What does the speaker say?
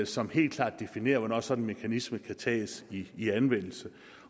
som helt klart definerer hvornår sådan en mekanisme kan tages i anvendelse